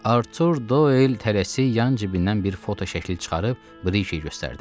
Artur Doyl tələsik yan cibindən bir fotoşəkili çıxarıb Brikiyə göstərdi.